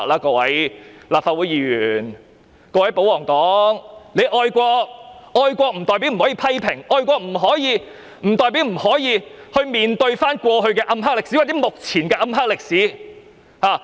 各位立法會議員，各位保皇黨，你們愛國，但愛國不代表不可以批評，愛國不代表不可以去面對過去的暗黑歷史，或目前的暗黑歷史。